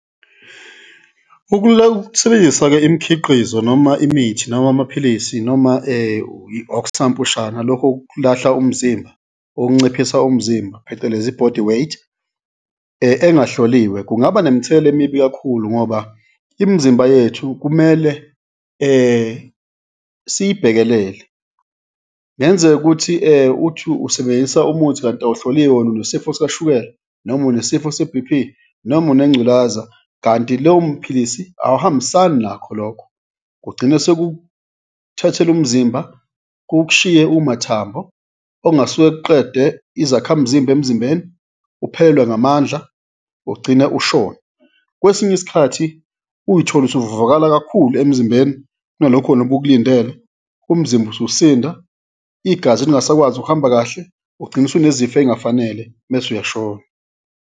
Ukusebenzisa-ke imikhiqizo noma imithi noma amaphilisi noma okusampushana, lokhu okulahla umzimba, okunciphisa umzimba, phecelezi i-bodyweight engahloliwe kungaba nemithelela emibi kakhulu ngoba imizimba yethu kumele siyibhekelele. Kungenzeka ukuthi uthi usebenzisa umuthi kanti awuhloliwe wena unesifo sikashukela noma unesifo se-B_P noma unengculaza kanti lowo muphilisi awuhambisani nakho lokho, kugcina sekukuthathela umzimba, kuk'shiye umathambo, okungasuke kuqede izakhamzimba emzimbeni, uphelelwe ngamandla, ugcine ushona. Kwesinye isikhathi uyithole usuvuvukala kakhulu emzimbeni kunalokhu wena ubukulindele, umzimba ususinda, igazi lingasakwazi ukuhamba kahle, ugcine usunezifo ey'ngafanele mese uyashona.